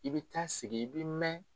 I bɛ taa sigi i bɛ mɛn.